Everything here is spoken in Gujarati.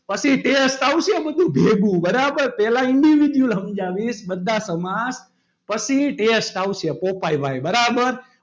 પછી test આવશે બધું ભેગું. બરાબર પહેલા individual સમજાવીશ બધા સમાસ પછી test આવશે પોપાય ભાઈ બરાબર.